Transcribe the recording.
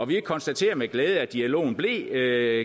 vi konstaterer med glæde at dialogen blev